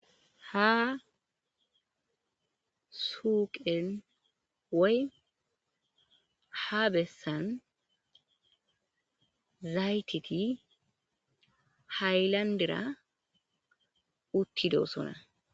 Ha suuqen wey ha bessan zaytiti haylandira uttidosona.